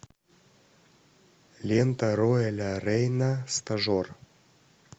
лента роэля рейна стажер